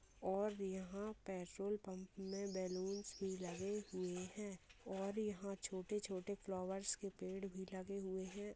और यहाँ petrol pump में बैलून्स भी लगे हुए हैं और यहाँ छोटे-छोटे फ्लावर्स के पेड़ भी लगे हुए हैं।